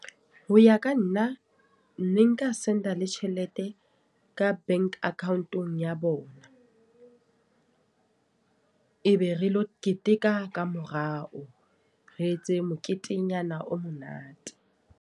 Ho ya ka nna. Ne nka send-a le tjhelete ka bank account-ong ya bona. E be re lo keteka ka morao. Re etse moketenyana o monate.